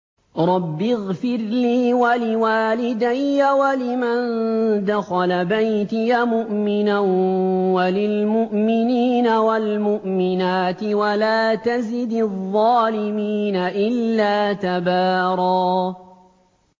رَّبِّ اغْفِرْ لِي وَلِوَالِدَيَّ وَلِمَن دَخَلَ بَيْتِيَ مُؤْمِنًا وَلِلْمُؤْمِنِينَ وَالْمُؤْمِنَاتِ وَلَا تَزِدِ الظَّالِمِينَ إِلَّا تَبَارًا